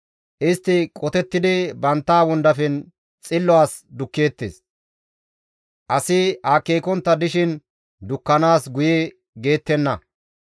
Istti qotettidi bantta wondafen xillo as dukkeettes; asi akeekontta dishin dukkanaas guye geettenna.